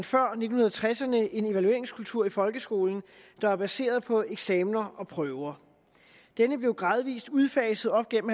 før nitten tresserne en evalueringskultur i folkeskolen der var baseret på eksamener og prøver denne blev gradvis udfaset op gennem